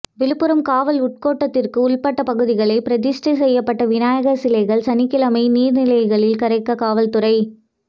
விழுப்புரம் காவல் உள்கோட்டத்துக்கு உள்பட்ட பகுதிகளில் பிரதிஷ்டை செய்யப்பட்ட விநாயகர் சிலைகள் சனிக்கிழமை நீர் நிலைகளில் கரைக்க காவல்துறை